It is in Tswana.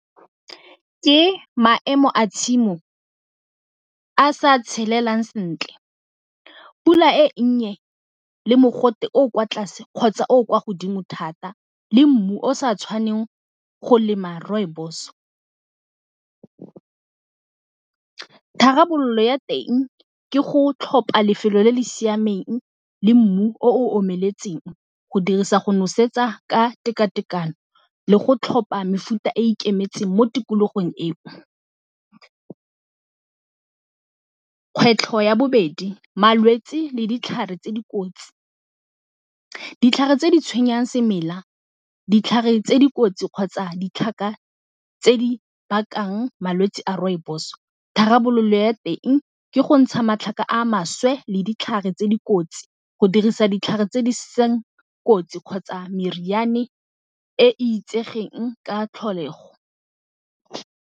Ke maemo a tshimo a sa tshelelang sentle, pula e nnye, le mogote o o kwa tlase kgotsa o o kwa godimo thata le mmu o sa tshwaneng go lema rooibos. Tharabololo ya teng ke go tlhopa lefelo le le siameng le mmu o omeletseng go dirisa go nosetsa ka tekatekano le go tlhopha mefuta e e ikemetseng mo tikologong eo. Kgwetlho ya bobedi malwetsi le ditlhare tse dikotsi. Ditlhare tse di tshwenyang semela ditlhare tse dikotsi kgotsa ditlhaka tse di bakang malwetsi a rooibos tharabololo ya teng ke go ntsha matlhaka a maswe le ditlhare tse di kotsi go dirisa ditlhare tse di seng kotsi kgotsa meriane e itsegeng ka tlholego.